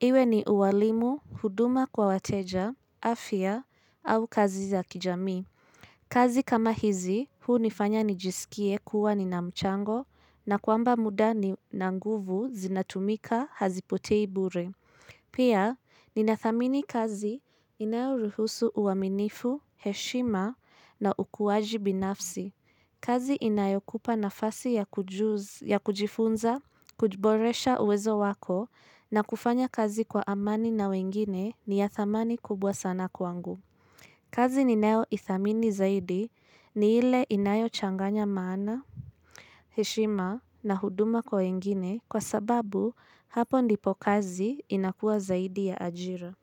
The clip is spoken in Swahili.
Iwe ni uwalimu, huduma kwa wateja, afya, au kazi za kijamii. Kazi kama hizi, hunifanya nijisikie kuwa nina mchango na kwamba muda na nguvu zinatumika hazipotei bure. Pia, ninathamini kazi inayoruhusu uaminifu, heshima na ukuwaji binafsi. Kazi inayokupa nafasi ya kujifunza, kujiboresha uwezo wako na kufanya kazi kwa amani na wengine ni ya thamani kubwa sana kwangu. Kazi ninayo ithamini zaidi ni ile inayo changanya maana, heshima na huduma kwa wengine kwa sababu hapo ndipo kazi inakua zaidi ya ajira.